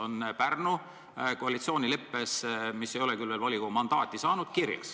" Nii on kirjas Pärnu koalitsioonileppes, mis ei ole küll veel volikogu mandaati saanud.